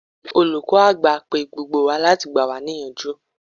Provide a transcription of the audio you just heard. Olùkọ́ àgbà pe gbogbo wa láti gbà wá ní ìyànjú.